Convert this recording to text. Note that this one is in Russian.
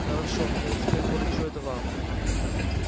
хорошо но я теперь поручу это вам